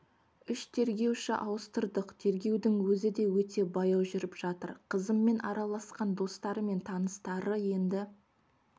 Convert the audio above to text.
үш тергеуші ауыстырдық тергеудің өзі де өте баяу жүріп жатыр қызыммен араласқан достары мен таныстары енді